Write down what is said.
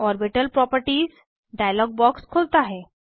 orbital properties dialog box खुलता है